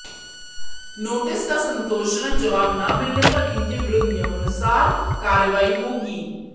notice का संतोषजनक जवाब न मिलने पर इनके विरुद्ध नियमानुसार कार्रवाई होगी